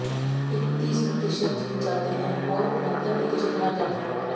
इकतीस प्रतिशत जीत जाते हैं और उनहत्तर प्रतिशत हार जाते हैं